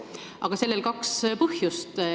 Aga sellel on kaks põhjust.